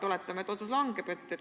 Oletame, et otsus langetatakse.